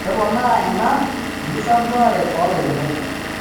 Keponaaa ena enkisampuare oolairemok.